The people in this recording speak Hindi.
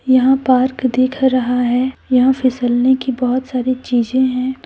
यहां पार्क देख रहा है यहां फिसलने की बहुत सारी चीजें हैं।